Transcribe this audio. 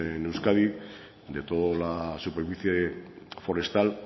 en euskadi de toda la superficie forestal